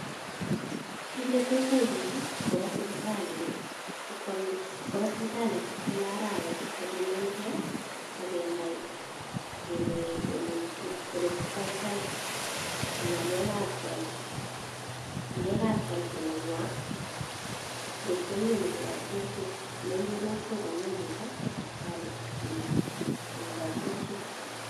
Kiit ne tos yai piil i, ko kopa sipitalit kila arawet ipkopimangei ak kenai ole testai tai ng'alekap health nenywa ngot ko miani kikochi kerichek. Nerupe not ko ngot ko mian chito, kowa sipitali ipkinya ak kikachi kerichek.